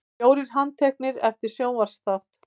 Fjórir handteknir eftir sjónvarpsþátt